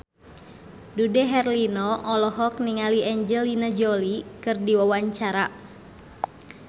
Dude Herlino olohok ningali Angelina Jolie keur diwawancara